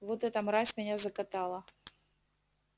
вот эта мразь меня закатала